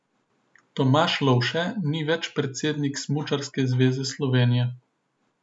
Tomaž Lovše ni več predsednik Smučarske zveze Slovenije.